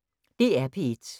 DR P1